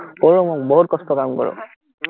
কৰোঁ মই বহুত কষ্টৰ কাম কৰোঁ